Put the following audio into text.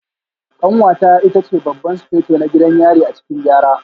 Kanwata ita ce Babban Sufeto na gidan yari a cikin Gyara